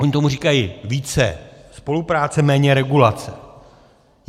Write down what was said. Oni tomu říkají více spolupráce, méně regulace.